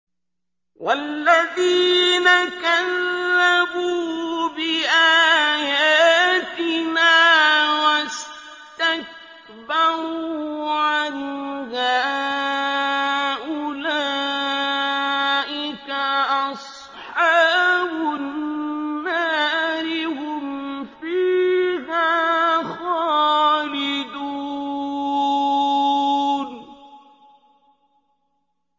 وَالَّذِينَ كَذَّبُوا بِآيَاتِنَا وَاسْتَكْبَرُوا عَنْهَا أُولَٰئِكَ أَصْحَابُ النَّارِ ۖ هُمْ فِيهَا خَالِدُونَ